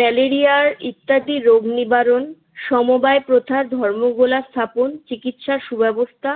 malaria ইত্যাদি রোগ নিবারণ সমবায় প্রথা ধর্মগোলা স্থাপন চিকিৎসা সুব্যবস্থা